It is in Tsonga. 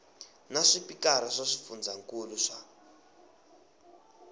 na swipikara swa swifundzankulu swa